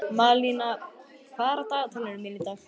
Malína, hvað er á dagatalinu mínu í dag?